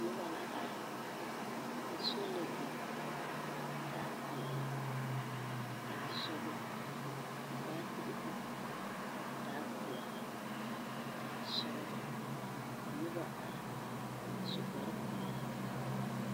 Noba la are, ka sola biŋ a taa peԑle a taa sͻgelͻ, ka baatere biŋ a taa peԑle a taa sͻgelͻ. Ka noba are, a su kpare peԑle.